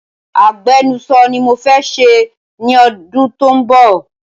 Agbenuso ni mo fẹ́ ṣe ní ọdún tó ń bọ̀